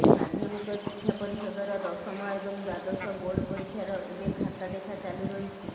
ମାଧ୍ୟମିକ ଶିକ୍ଷା ପରିଷଦର ଦଶମ ଏବଂ ଦ୍ୱାଦଶ ବୋର୍ଡ ପରୀକ୍ଷାର ଏବେ ଖାତା ଦେଖା ଚାଲୁ ରହିଛି